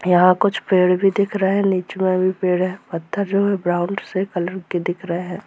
यहां कुछ पेड़ भी दिख रहे है नीचे में भी पेड़ है पत्थर जो हैब्राउन से कलर के दिख रहे है।